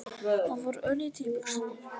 Það fór örlítið í buxurnar.